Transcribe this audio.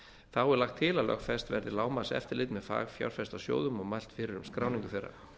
þá er lagt til að lögfest verði lágmarkseftirlit með fagfjárfestasjóðum og mælt fyrir um skráningu þeirra